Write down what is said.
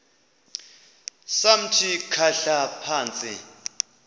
samthi khahla phantsi